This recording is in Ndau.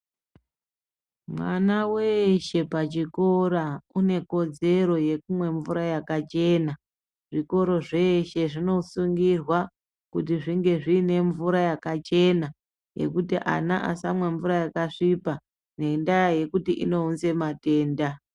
Mwana weshe pachikora une kodzero yekumwe mvura yakachena. Zvikoro zveshe zvinosungirwa kuti zvinge zviine mvura yakachena yekuti ana asamwe mvura yakasvipa ngendaa yekuti inounze matenda.